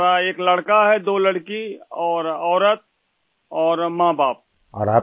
ہمارا ایک لڑکا ، دو لڑکیاں اور ایک بیوی اور والدین ہیں